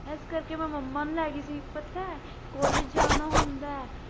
ਏਸ ਕਰਕੇ ਮੈਂ ਮੰਮਾ ਨੂੰ ਲੈਗੀ ਸੀ ਪਤਾ ਐ college ਜਾਣ ਨਾਲ ਹੁੰਦਾ ਐ?